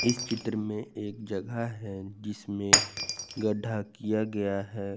इस चित्र में एक जगह है जिसमें गड्ढा किया गया है।